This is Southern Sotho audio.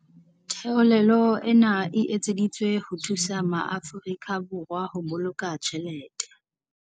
Theolelo ena e etseditswe ho thusa maAfori ka Borwa ho boloka tjhelete.